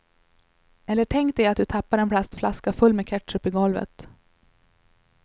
Eller tänk dig att du tappar en plastflaska full med ketchup i golvet.